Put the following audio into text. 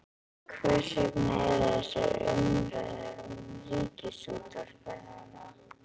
Hvers vegna eru þessar umræður um Ríkisútvarpið núna?